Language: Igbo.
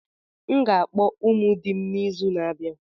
M ga-akpọ ụmụ di m n'izu na-abịa.